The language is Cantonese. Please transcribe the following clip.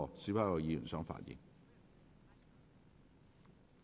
是否有議員想發言？